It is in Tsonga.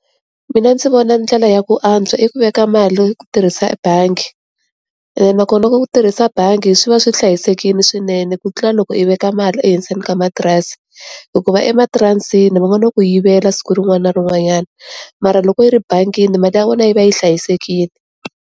Mina ndzi vona ndlela ya ku antswa i ku veka mali hi ku tirhisa bangi ene nakona ka ku tirhisa bangi swi va swi hlayisekile swinene ku tlula loko yi veka mali ehenseni ka matirasi hikuva ematirasini van'wana va ku yivela siku rin'wana na rin'wanyana mara loko yi ri bangini mali ya vona yi va yi hlayisekile.